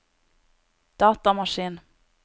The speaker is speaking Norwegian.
datamaskin